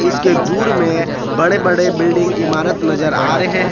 इसके दूर में बड़े बड़े बिल्डिंग इमारत नजर आ रहे हैं।